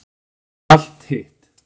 Og allt hitt.